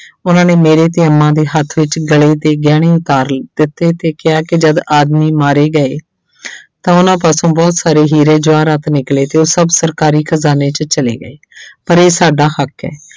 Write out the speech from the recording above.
ਉਹਨਾਂ ਨੇ ਮੇਰੇ ਤੇ ਅੰਮਾ ਦੇ ਹੱਥ ਵਿੱਚ ਗਲੇ ਦੇ ਗਹਿਣੇ ਉਤਾਰ ਦਿੱਤੇ ਤੇ ਕਿਹਾ ਕਿ ਜਦ ਆਦਮੀ ਮਾਰੇ ਗਏ ਤਾਂ ਉਹਨਾਂ ਪਾਸੋਂ ਬਹੁਤ ਸਾਰੇ ਹੀਰੇ ਜਵਾਹਰਾਤ ਨਿਕਲੇ ਤੇ ਉਹ ਸਭ ਸਰਕਾਰੀ ਖ਼ਜਾਨੇ 'ਚ ਚਲੇ ਗਏ ਪਰ ਇਹ ਸਾਡਾ ਹੱਕ ਹੈ।